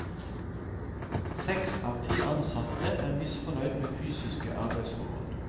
Seks av ti ansatte er misfornøyd med fysiske arbeidsforhold.